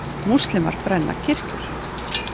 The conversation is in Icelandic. Múslímar brenna kirkjur